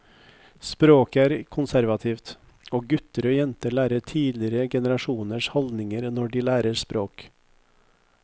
Språket er konservativt, og gutter og jenter lærer tidligere generasjoners holdninger når de lærer språket.